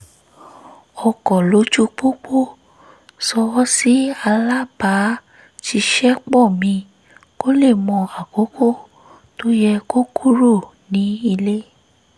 ọkọ̀ lójú-pópó ṣọwọ́ sí alábàá-ṣiṣẹ́-pọ̀ mi kó lè mọ àkókò tó yẹ kó kúrò nílé